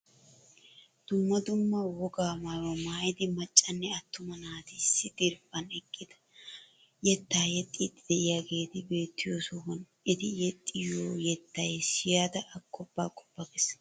Dumma dumma wogaa maayuwaa maayida maccanne attuma naati issi diriphaan eqqidi yettaa yexxiidi de'iyaageti beettiyoo sohuwaan eti yexxiyoo yettay siyada agoppa agoppa ges!